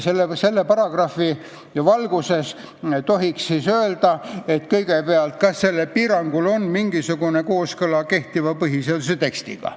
Selle paragrahvi valguses tohiks kõigepealt küsida, kas sellel piirangul on mingisugune kooskõla kehtiva põhiseaduse tekstiga.